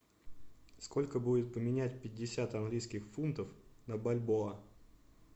сколько будет поменять пятьдесят английских фунтов на бальбоа